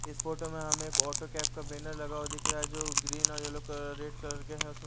इस फोटो में हम एक ऑटो कैब का बैनर लगा हुआ दिख रहा है जो ग्रीन और येलो कलर रेड कलर के हैं उस--